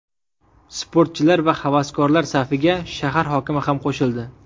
Sportchilar va havaskorlar safiga shahar hokimi ham qo‘shildi.